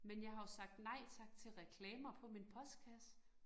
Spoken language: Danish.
Men jeg har jo sagt nej tak til reklamer på min postkasse